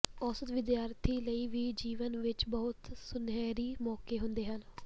ਔਸਤ ਵਿਦਿਆਰਥੀ ਲਈ ਵੀ ਜੀਵਨ ਵਿੱਚ ਬਹੁਤ ਸੁਨਹਿਰੀ ਮੌਕੇ ਹੁੰਦੇ ਹਨ